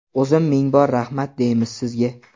o‘zim ming bor rahmat deymiz sizga.